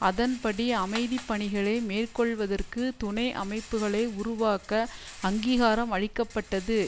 அதன்படி அமைதிப்பணிகளை மேற்கொள்வதற்கு துணை அமைப்புக்களை உருவாக்க அங்கீகாரம் அளிக்க பட்டது